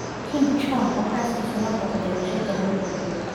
Kim Jong-Un oo xaaskiisa la booqday warshad lagu qurxiyo